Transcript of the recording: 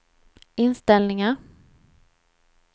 inställningar